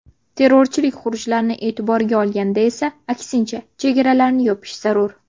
Terrorchilik xurujlarini e’tiborga olganda esa, aksincha, chegaralarni yopish zarur.